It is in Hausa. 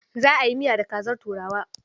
Za a yi miya da kazar turawa.